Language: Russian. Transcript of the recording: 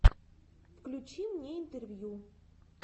включи мне интервью